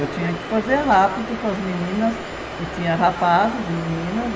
Eu tinha que fazer rápido com as meninas, e tinha rapazes e meninas.